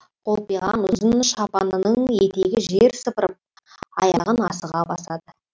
қолпиған ұзын шапанының етегі жер сыпырып аяғын асыға басады